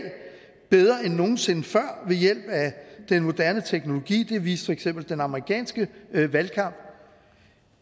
bedre end nogen sinde før ved hjælp af den moderne teknologi det viste for eksempel den amerikanske valgkamp